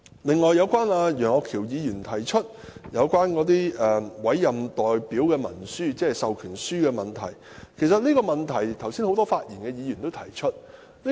此外，楊岳橋議員提出有關委任代表文書，即授權書的問題，其實很多剛才發言的議員都提出這個問題。